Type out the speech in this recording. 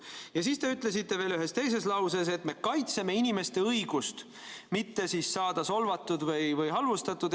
Ja siis te ütlesite veel ühes teises lauses, et me kaitseme inimeste õigust mitte saada solvatud või halvustatud.